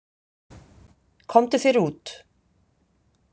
Komdu þér út.